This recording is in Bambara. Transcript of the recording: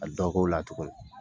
Ka dɔ k'o la tuguni.